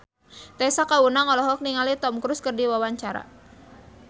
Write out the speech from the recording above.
Tessa Kaunang olohok ningali Tom Cruise keur diwawancara